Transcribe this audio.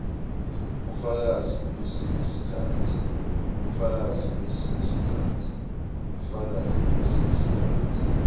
bufakazi kulesinye sikhatsi